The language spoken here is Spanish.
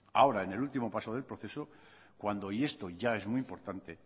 ahora en el último paso del proceso cuando y esto ya es muy importante